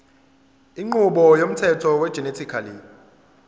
inqubo yomthetho wegenetically